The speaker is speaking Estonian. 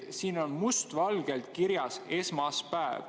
Siin on must valgel kirjas "esmaspäev".